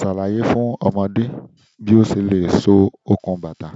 Ṣàlàyé fún ọmọdé bí ó ṣe le so okùn bàtà.